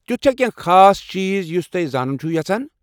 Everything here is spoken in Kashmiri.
تیتھ چھا کانٛہہ خاٲص چیٖز یٗس تُہۍ زانُن چھوٕ یژھان؟